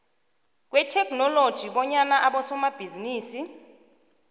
kwetheknoloji kobanyana abosomabhizinisi